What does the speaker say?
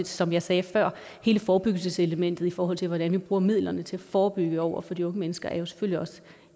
som jeg sagde før hele forebyggelseselementet i forhold til hvordan vi bruger midlerne til at forebygge over for de unge mennesker er jo selvfølgelig også